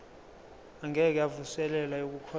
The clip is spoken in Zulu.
engeke yavuselelwa yokukhosela